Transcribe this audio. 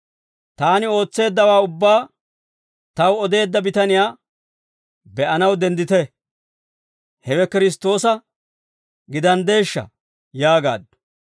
«Taani ootseeddawaa ubbaa taw odeedda bitaniyaa be'anaw denddite; hewe Kiristtoosa gidaanddeeshsha?» yaagaaddu.